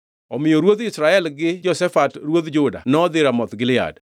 Omiyo ruodh Israel gi Jehoshafat ruodh Juda nodhi Ramoth Gilead.